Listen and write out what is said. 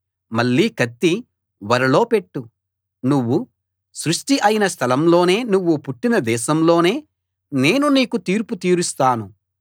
మళ్ళీ కత్తి ఒరలో పెట్టు నువ్వు సృష్టి అయిన స్థలంలోనే నువ్వు పుట్టిన దేశంలోనే నేను నీకు తీర్పు తీరుస్తాను